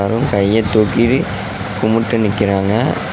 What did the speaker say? மற்றும் கைய தூக்கி கும்முட்டு நிக்கறாங்க.